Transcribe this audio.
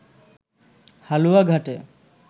হালুয়াঘাটে